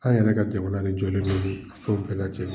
An yɛrɛ ka jamana de jɔlen de bi ko bɛɛ lajɛlen